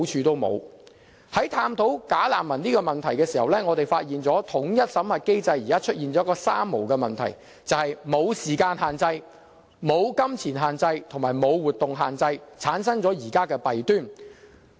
在探討"假難民"問題時，我們發現統一審核機制出現了一個"三無"問題，便是"無時間限制"、"無金錢限制"及"無活動限制"，以致產生了現在的弊端。